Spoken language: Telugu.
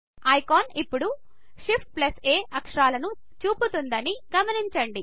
ఐకాన్ ఇప్పుడు ShiftA అక్షరాలను చూపుతుందని గమనించండి